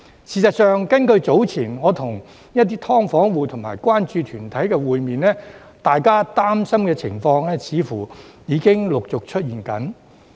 事實上，早前我與一些"劏房戶"及關注團體會面，大家擔心的情況似乎已經陸續出現。